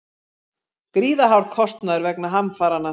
Gríðarhár kostnaður vegna hamfaranna